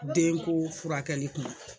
Denko furakɛli kuma